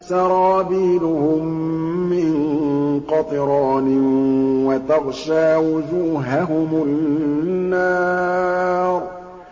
سَرَابِيلُهُم مِّن قَطِرَانٍ وَتَغْشَىٰ وُجُوهَهُمُ النَّارُ